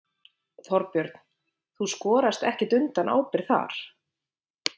Þorbjörn: Þú skorast ekkert undan ábyrgð þar?